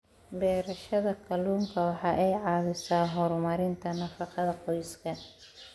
Beerashada kalluunka waxa ay caawisaa horumarinta nafaqada qoyska.